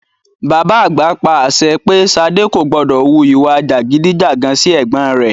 Bàbá àgbà pa àṣẹ pé Ṣadé kò gbọdọ̀ wu ìwà jàgídí-jàgan sí ẹ̀gbọ́n rẹ.